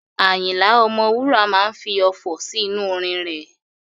Àyìnlà Ọmọwúrà máa fi ọfọ̀ sí inú orin rẹ̀.